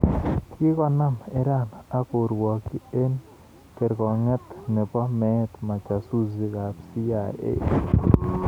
Kikonaam Iran ak korwokyi eng kerkong'iet ne bo meet majasusi CIA.